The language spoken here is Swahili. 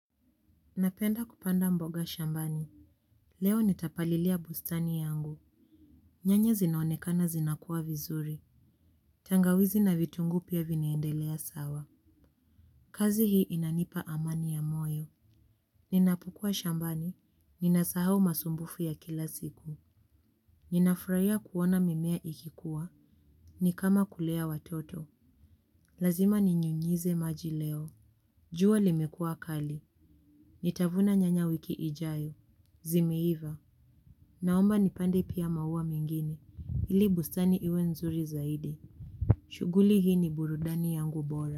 Napenda kupanda mboga shambani. Leo nitapalilia bustani yangu. Nyanya zinaonekana zinakuwa vizuri. Tangawizi na vitungu pia vinaendelea sawa. Kazi hi inanipa amani ya moyo. Ninapokua shambani. Ninasahau masumbufu ya kila siku. Ninafraiya kuona mimea ikikuwa. Ni kama kulea watoto. Lazima ninyunyize maji leo. Jua limekua kali. Nitavuna nyanya wiki ijayo. Zimeiva. Naomba nipande pia maua mengine, ili bustani iwe nzuri zaidi. Shuguli hii ni burudani yangu bora.